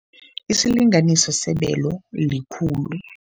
Isilanganiso sebelo likhulu.